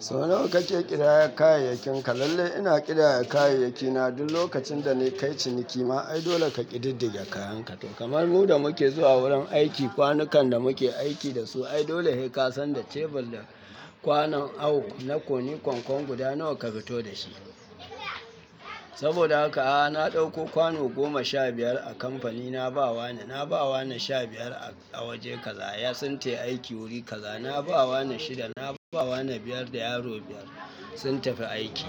Sau nawa kake ƙidaya kayayyakinka? Lalle ina ƙidaya kayayyaki na duk lokacin da na kai ciniki. Ma ai dole ka ƙididdige kayanka. To kamar mu da muke zuwa wurin aiki, kwanukan da muke aiki da su, ai dole sai ka san da cebur da kwanon awo na koni kwankwom guda nawa ka fito da shi. Saboda haka, a'a na ɗauko kwano goma sha biyar a kamfanin na ba wa na, na ba wa na sha biyar a waje kaza, ya suntayi aiki wuri kaza. Na ba wa na shida, na ba wa na biyar da yaro biyar sun tafi aiki.